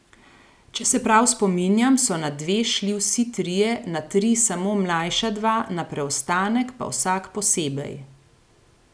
Če se prav spominjam, so na dve šli vsi trije, na tri samo mlajša dva, na preostanek pa vsak posebej.